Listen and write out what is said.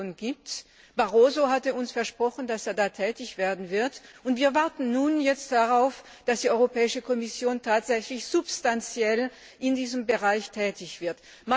Kommissionspräsident Barroso hatte uns versprochen, dass er da tätig werden wird, und wir warten nun darauf, dass die Europäische Kommission tatsächlich substanziell in diesem Bereich tätig wird.